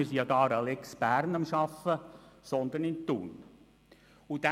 Eigentlich arbeiten wir nämlich an einer «Lex Bern».